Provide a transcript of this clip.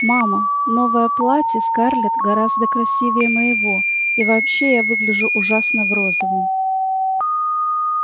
мама новое платье скарлетт гораздо красивее моего и вообще я выгляжу ужасно в розовом